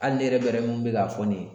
Hali ne yɛrɛ bɛrɛ mun be k'a fɔ nin ye